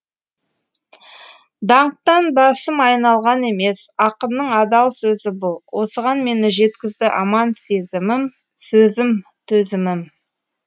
даңқтан басым айналған емес ақынның адал сөзі бұл осыған мені жеткізді аман сезімім сөзім төзімім